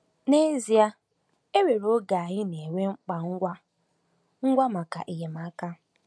N’ezie, e nwere oge anyị na-enwe mkpa ngwa ngwa maka enyemaka.